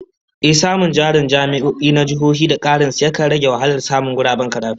Ehh, samun jarin jami'o'i na jihohi da karin su, yakan rage wahalar samun guraben karatu